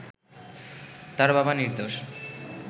তার বাবা নির্দোষ